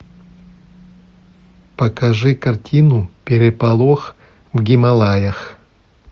покажи картину переполох в гималаях